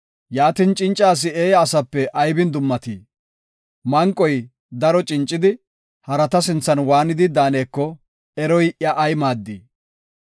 Yaatin, cinca asi eeya asape aybin dummatii? Manqoy daro cincidi, harata sinthan waanidi daaneko eroy iya ay maaddii?